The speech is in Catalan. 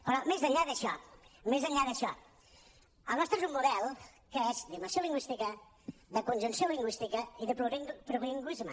però més enllà d’això més enllà d’això el nostre és un model que és d’immersió lingüística de conjunció lingüística i de plurilingüisme